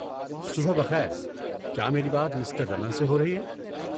صبح بخیر، کیا میری بات مسٹر رمن سے ہو رہی ہے؟